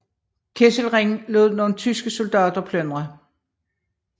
Kesselring lod nogle tyske soldater plyndre